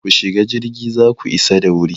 Ku shiga jirgi za ku isa da wuri!